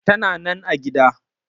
Tana nan a gida.